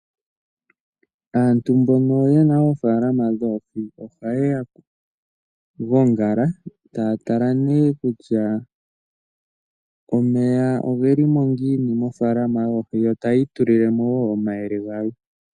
Aantu mbono yena oofalama dhoohi oha ya gongala ta tala nee kutya omeya ogeli mo ngini mofalama yoohi. Yo tayi itulile mo wo omayele galwe